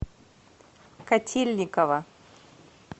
котельниково